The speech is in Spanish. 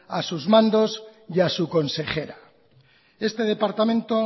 a sus mandos y a su consejera este departamento